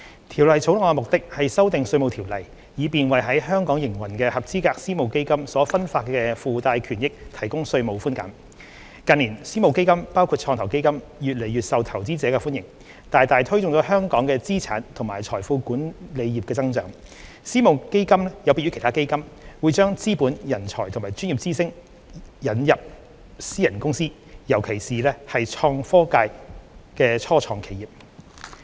《條例草案》的目的，是修訂《稅務條例》，以便為在香港營運的合資格私募基金所分發的附帶權益提供稅務寬減。近年，私募基金越來越受投資者歡迎，大大推動香港的資產和財富管理業增長。私募基金有別於其他基金，會把資本、人才和專業知識引入私人公司，尤其是創新科技界的初創企業。